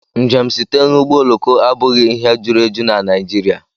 Njem site n'ọgbọ oloko abụghị ihe juru eju na Naijiria.